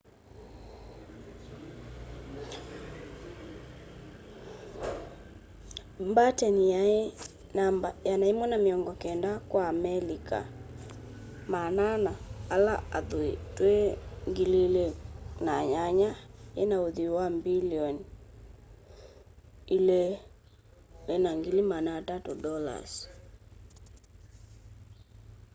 batten yai namba 190 kwa amelika 400 ala athui twi 2008 yina uthui wa mbilioni $2.3